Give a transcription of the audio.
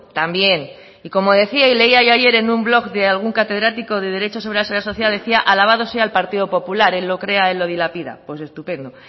también y como decía y leía yo ayer en un blog de algún catedrático de derecho sobre la seguridad social decía alabado sea el partido popular él lo crea él lo dilapida pues estupendo